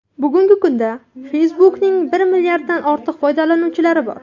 Bugungi kunda Facebook’ning bir milliarddan ortiq foydalanuvchilari bor.